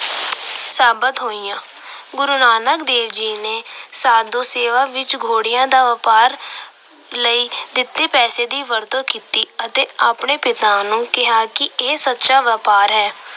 ਸਾਬਤ ਹੋਇਆ। ਗੁਰੂ ਨਾਨਕ ਦੇਵ ਜੀ ਨੇ ਸਾਧੂ ਸੇਵਾ ਵਿੱਚ ਘੋੜਿਆਂ ਦੇ ਵਪਾਰ ਲਈ ਦਿੱਤੇ ਪੈਸਿਆਂ ਦੀ ਵਰਤੋਂ ਕੀਤੀ ਅਤੇ ਆਪਣੇ ਪਿਤਾ ਨੂੰ ਕਿਹਾ ਕਿ ਇਹ ਸੱਚਾ ਵਪਾਰ ਹੈ।